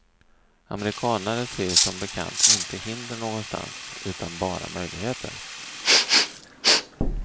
Amerikanare ser ju som bekant inte hinder någonstans, utan bara möjligheter.